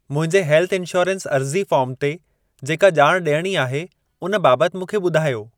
मुंहिंजे health insurance अर्ज़ी form ते जेका ॼाण ॾियणी आहे उन बाबति मूंखे ॿुधायो।